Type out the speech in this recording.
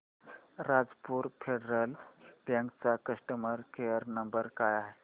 Rajapur Federal Bank चा customer care number काय आहे